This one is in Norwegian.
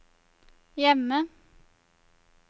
hjemme